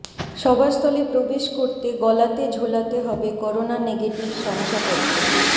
সভাস্থলে প্রবেশ করতে গলাতে ঝোলাতে হবে করোনা নেগেটিভ শংসাপত্র